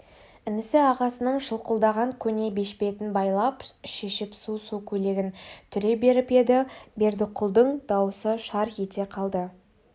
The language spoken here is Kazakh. інісі ағасының шылқылдаған көне бешпетін абайлап шешіп су-су көйлегін түре беріп еді бердіқұлдың дауысы шар ете қалды